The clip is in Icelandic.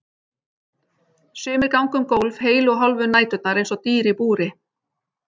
Sumir ganga um gólf heilu og hálfu næturnar eins og dýr í búri.